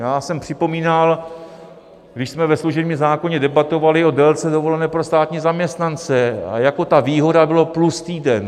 Já jsem připomínal, když jsme ve služebním zákoně debatovali o délce dovolené pro státní zaměstnance, a jako ta výhoda byla plus týden.